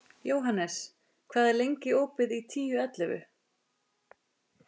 Jóhannes, hvað er lengi opið í Tíu ellefu?